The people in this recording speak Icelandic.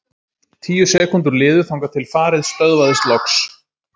Tíu sekúndur liðu þangað til farið stöðvaðist loks.